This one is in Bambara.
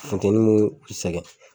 Funteni mo o sɛgɛn.